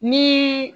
Ni